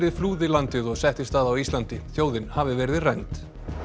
flúði landið og settist að á Íslandi þjóðin hafi verið rænd